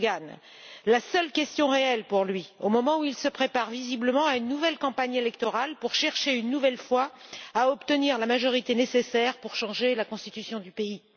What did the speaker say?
Erdogan, la seule question réelle pour lui, au moment où il se prépare visiblement à une nouvelle campagne électorale pour chercher, une nouvelle fois, à obtenir la majorité nécessaire pour changer la constitution du pays.